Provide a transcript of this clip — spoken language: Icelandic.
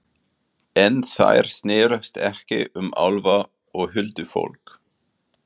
En þær snerust ekki um álfa og huldufólk.